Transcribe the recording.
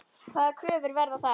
Hvaða kröfur verða þar?